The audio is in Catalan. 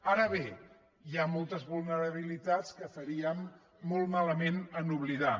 ara bé hi ha moltes vulnerabilitats que faríem molt malament d’oblidar